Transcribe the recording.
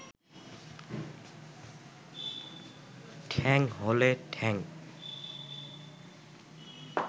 ঠ্যাং হলে ঠ্যাং